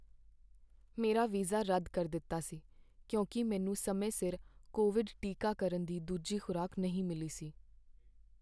ਮੇਰਾ ਵੀਜ਼ਾ ਰੱਦ ਕਰ ਦਿੱਤਾ ਸੀ ਕਿਉਂਕਿ ਮੈਨੂੰ ਸਮੇਂ ਸਿਰ ਕੋਵਿਡ ਟੀਕਾਕਰਨ ਦੀ ਦੂਜੀ ਖ਼ੁਰਾਕ ਨਹੀਂ ਮਿਲੀ ਸੀ।